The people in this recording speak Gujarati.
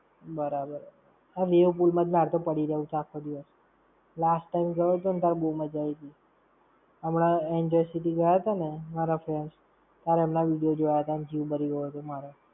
બરાબર. Wave pool માં જ મારે તો પડી રેવું છે આખો દિવસ! Last time ગયો તો ને ત્યારે બો મજા આવીતી. હમણાં Enjoy City ગયા તા ને, મારા friend, ત્યારે એમના video જોયા તા ને જીવ બરી ગયો તો મારો.